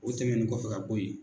O tɛmɛn kɔfɛ ka bɔ ye.